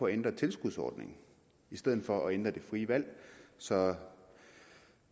ændre tilskudsordningen i stedet for at ændre det frie valg så